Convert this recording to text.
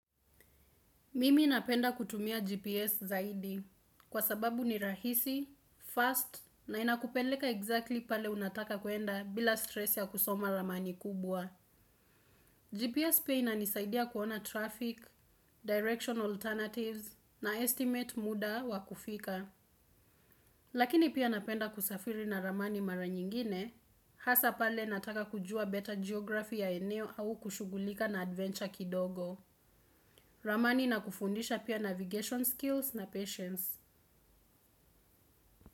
Mimi napenda kutumia GPS zaidi kwa sababu ni rahisi, fast na inakupeleka exactly pale unataka kuenda bila stress ya kusoma ramani kubwa. GPS pia inanisaidia kuona traffic, direction alternatives na estimate muda wa kufika. Lakini pia napenda kusafiri na ramani mara nyingine, hasa pale nataka kujua beta geography ya eneo au kushugulika na adventure kidogo. Ramani na kufundisha pia navigation skills na patience.